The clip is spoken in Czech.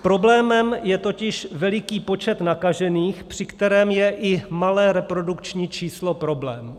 Problémem je totiž veliký počet nakažených, při kterém je i malé reprodukční číslo problém.